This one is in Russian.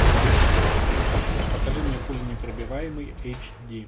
покажи мне пуленепробиваемый эйч ди